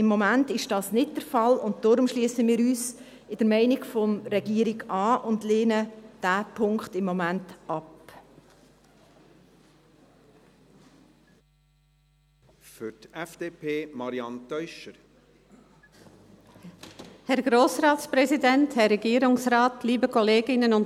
Im Moment ist dies aber nicht der Fall, und deshalb schliessen wir uns der Meinung der Regierung an und lehnen diesen Punkt im Moment ab.